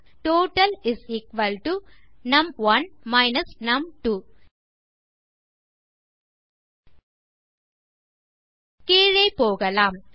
total நும்1 நும்2 கீழே போகலாம்